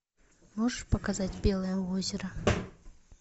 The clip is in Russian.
можешь показать белое озеро